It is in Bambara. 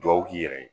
Dugawu k'i yɛrɛ ye